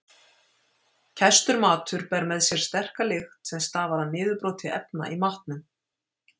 Kæstur matur ber með sér sterka lykt sem stafar af niðurbroti efna í matnum.